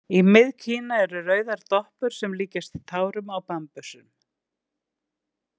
Í Mið- Kína eru rauðar doppur sem líkjast tárum á bambusnum.